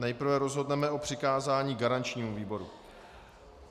Nejprve rozhodneme o přikázání garančnímu výboru.